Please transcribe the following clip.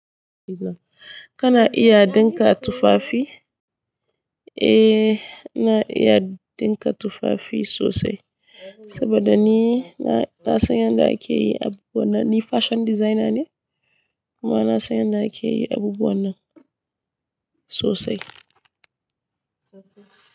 Kana iya dinka tufafi? Eh, na iya dinka tufafi sosai saboda ni na, na san yadda ake yi abubuwan nan. Ni fashion designer ne kuma na san yadda ake yi abubuwan nan sosai. Sosai.